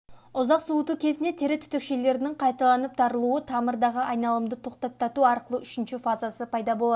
ұзақ суыту кезінде тері түтікшелерінің қайталанып тарылуы тамырдағы айналымды тоқтатату арқылы үшінші фазасы пайда болады